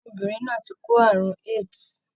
Ọmọbìnrin náà ti kó ààrùn AIDs.